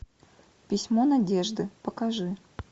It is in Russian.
письмо надежды покажи